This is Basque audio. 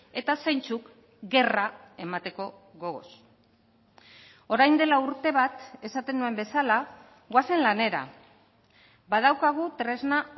eta zeintzuk gerra emateko gogoz orain dela urte bat esaten nuen bezala goazen lanera badaukagu tresna